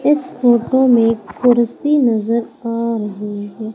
इस फोटो में कुर्सी नजर आ रही है।